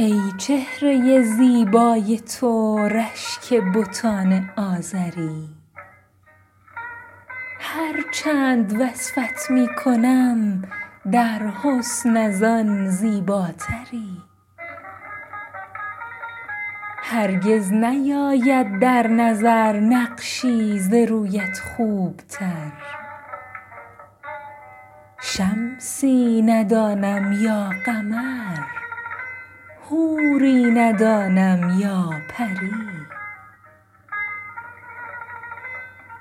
ای چهره زیبای تو رشک بتان آزری هر چند وصفت می کنم در حسن از آن زیباتری هرگز نیاید در نظر نقشی ز رویت خوبتر شمسی ندانم یا قمر حوری ندانم یا پری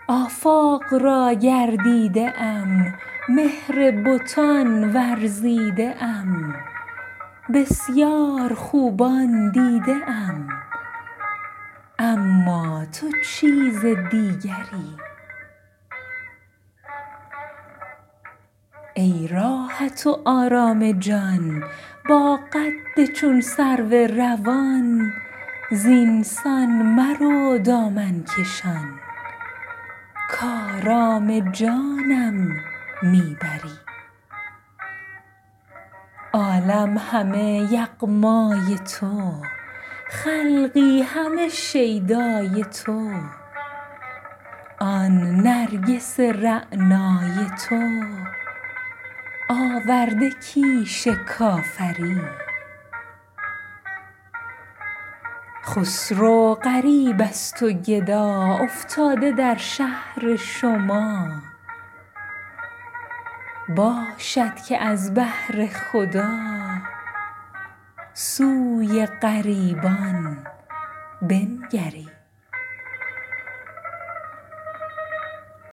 آفاق را گردیده ام مهر بتان ورزیده ام بسیار خوبان دیده ام اما تو چیز دیگری ای راحت و آرام جان با قد چون سرو روان زینسان مرو دامن کشان کآرام جانم می بری عزم تماشا کرده ای آهنگ صحرا کرده ای جان و دل ما برده ای این است رسم دلبری عالم همه یغمای تو خلقی همه شیدای تو آن نرگس رعنای تو آورده کیش کافری خسرو غریب است و گدا افتاده در شهر شما باشد که از بهر خدا سوی غریبان بنگری